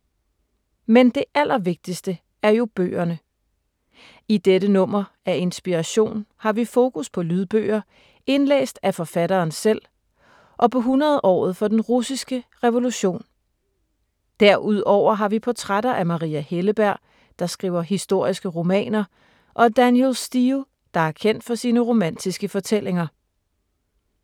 Men det allervigtigste er jo bøgerne. I dette nummer af Inspiration har vi fokus på lydbøger indlæst af forfatteren selv og på 100-året for den russiske revolution. Derudover har vi portrætter af Maria Helleberg, der skriver historiske romaner, og Danielle Steel, der er kendt for sine romantiske fortællinger.